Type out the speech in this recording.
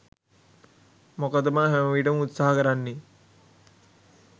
මොකද මම හැමවිටම උත්සහ කරන්නෙ